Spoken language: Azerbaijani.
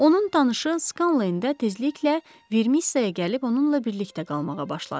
Onun tanışı Skalen tezliklə vermiyə gəlib onunla birlikdə qalmağa başladı.